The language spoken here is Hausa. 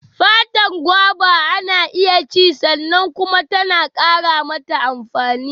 Fatar goba ana iya ci sannan kuma tana ƙara mata amfani.